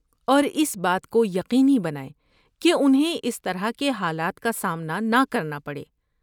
اور اس بات کو یقینی بنائیں کہ انہیں اس طرح کے حالات کا سامنا نہ کرنا پڑے۔